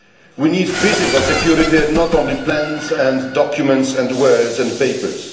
We need physical security, and not only plans and documents and words and papers.